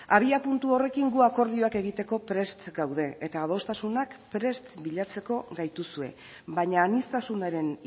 abiapuntu horrekin gu akordioak egiteko prest gaude eta adostasunak prest bilatzeko gaituzue baina aniztasunaren